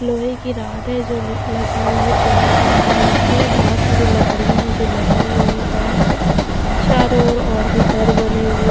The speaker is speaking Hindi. लोहे की रॉड है जो ल लगी हुई है पिलर बना रहा है उससे बहोत सारी लकड़ियां हैं जो लगी हुईं हैं काम पे चारो ओर और भी घर बने हुए --